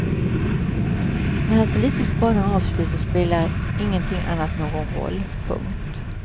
När hans politiska bana är avslutad spelar ingenting annat någon roll. punkt